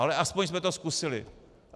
Ale aspoň jsme to zkusili.